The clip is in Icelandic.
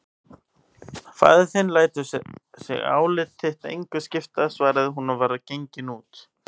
Faðir þinn lætur sig álit þitt engu skipta, svaraði hún og var gengin út.